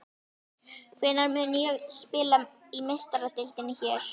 Hvenær mun ég spila í Meistaradeildinni hér?